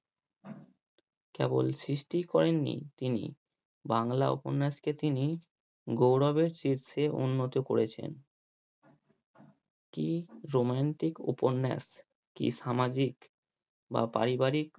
কেবল সৃষ্টি করেননি তিনি বাংলা উপন্যাসকে তিনি গৌরবের শীর্ষে উন্নতি করেছেন কি romantic উপন্যাস। কি সামাজিক বা পারিবারিক